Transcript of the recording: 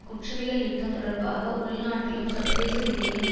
குற்றவியல் யுத்தம் தொடர்பாக உள்நாட்டிலும் சர்வதேச ரீதியிலும்